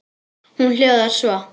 Hún hljóðar svo: